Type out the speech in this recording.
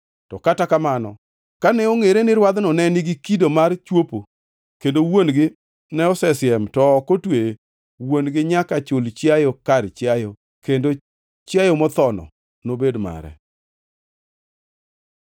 To kata kamano, kane ongʼere ni rwadhno ne nigi kido mar chwopo, kendo wuon-gi ne osesiem to ne ok otweye, wuon-gi nyaka chul, chiayo kar chiayo kendo chiayo mothono nobed mare.